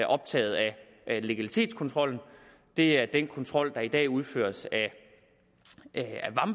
optaget af legalitetskontrollen det er den kontrol der i dag udføres